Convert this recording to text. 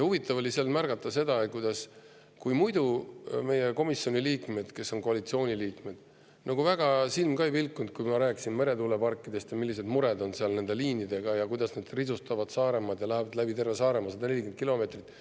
Huvitav oli seal märgata seda, et muidu meie komisjoni liikmetel, kes on ka koalitsiooni liikmed, silm ka väga ei pilkunud selle peale, kui ma rääkisin neile meretuuleparkidest ja sellest, millised mured on seal nende liinidega ja kuidas need risustavad Saaremaad ja lähevad läbi terve Saaremaa 140 kilomeetri ulatuses.